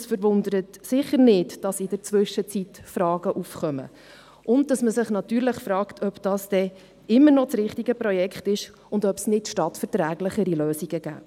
Es verwundert sicher nicht, dass in der Zwischenzeit Fragen aufgekommen sind und dass man sich fragt, ob das immer noch das richtige Projekt ist und ob es stadtverträglichere Lösungen gäbe.